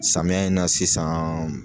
Samiya in na sisan